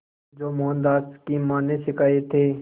जो मोहनदास की मां ने सिखाए थे